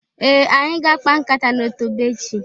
Ee! Anyị ga-akpa nkata n'otobo echị.